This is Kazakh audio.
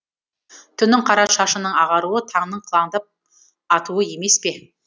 түннің қара шашының ағаруы таңның қылаңдап атуы емес пе